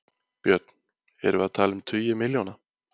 Björn: Erum við að tala um tugi milljóna?